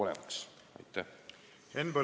Henn Põlluaas, palun!